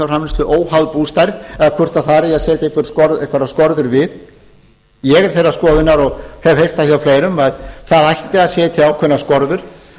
sauðfjárframleiðslu óháð bústærð eða hvort þar eigi að setja einhverjar skorður við ég er þeirrar skoðunar og hef heyrt það hjá fleirum að það ætti að setja ákveðnar skorður